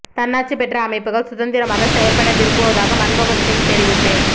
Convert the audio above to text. தன்னாட்சி பெற்ற அமைப்புகள் சுதந்திரமாக செயற்பட விரும்புவதாக மன்மோகன் சிங் தெரிவிப்பு